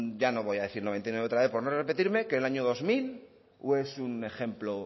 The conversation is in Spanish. ya no voy a decir noventa y nueve otra vez por no repetirme que el año dos mil o es un ejemplo